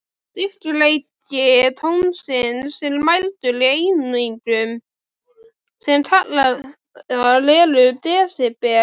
Styrkleiki tónsins er mældur í einingum, sem kallaðar eru desibel.